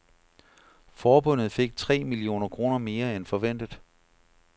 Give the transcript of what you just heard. Forbundet fik tre millioner kroner mere end forventet.